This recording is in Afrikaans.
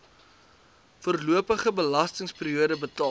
voorlopige belastingperiode betaal